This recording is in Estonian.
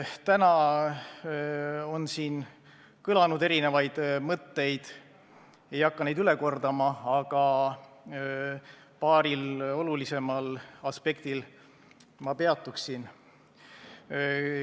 Täna on siin kõlanud erinevaid mõtteid, ma ei hakka neid üle kordama, aga paaril olulisemal aspektil siiski peatuksin.